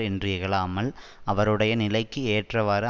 என்று இகழாமல் அவருடைய நிலைக்கு ஏற்றவாறு